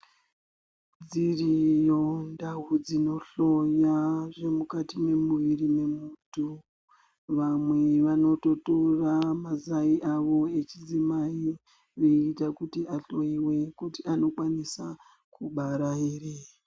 Dziriyo ndau dzinohloya zvemukati memuwiri memuntu vamwe vanoto tora mazai awo echidzimai kuti veita kuti ahloyiwe kuti anokwanisa kubara ere